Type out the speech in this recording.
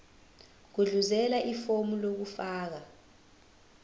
gudluzela ifomu lokufaka